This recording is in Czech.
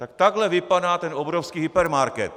Tak takhle vypadá ten obrovský hypermarket.